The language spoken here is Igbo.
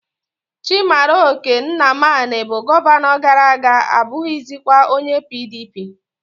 Chimaroke nnamani bu Gọvanọ gara-aga abughizikwa onye PDP